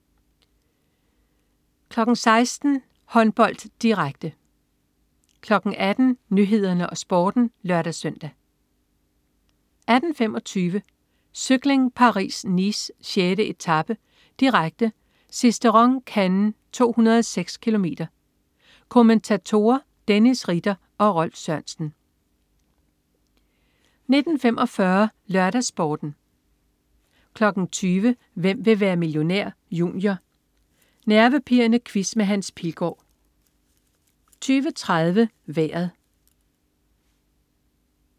16.00 Håndbold, direkte 18.00 Nyhederne og Sporten (lør-søn) 18.25 Cykling: Paris-Nice. 6. etape, direkte. Sisteron-Cannes, 206 km. Kommentatorer: Dennis Ritter og Rolf Sørensen 19.45 LørdagsSporten 20.00 Hvem vil være millionær? Junior. Nervepirrende quiz med Hans Pilgaard 20.30 Vejret